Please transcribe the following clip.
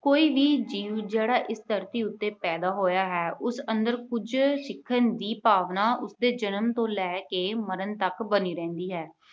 ਕੋਈ ਵੀ ਜੀਵ ਜਿਹੜਾ ਇਸ ਧਰਤੀ ਉੱਤੇ ਪੈਦਾ ਹੋਇਆ ਹੈ, ਉਸ ਅੰਦਰ ਕੁਝ ਸਿੱਖਣ ਦੀ ਭਾਵਨਾ ਉਸਦੇ ਜਨਮ ਤੋਂ ਲੈ ਕੇ ਮਰਨ ਤੱਕ ਬਣੀ ਰਹਿੰਦੀ ਹੈ।